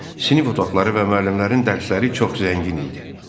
Sinif otaqları və müəllimlərin dərsləri çox zəngin idi.